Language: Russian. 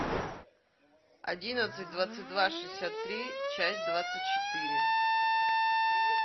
одиннадцать двадцать два шестьдесят три часть двадцать четыре